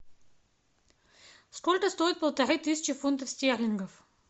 сколько стоит полторы тысячи фунтов стерлингов